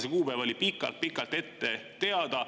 See kuupäev oli pikalt-pikalt ette teada.